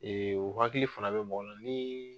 o hakili fana bɛ bɔgɔ la ni.